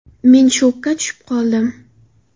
Men shokka tushib qoldim.